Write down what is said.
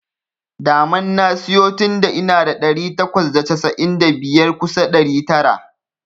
Daman na siyo tunda ina da ɗari takwas da casa'in da biyar kusa ɗari tara.